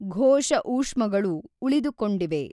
ಘೋಷ ಊಷ್ಮಗಳು ಉಳಿದುಕೊಂಡಿವೆ.